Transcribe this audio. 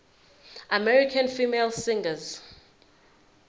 american female singers